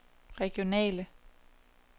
regionale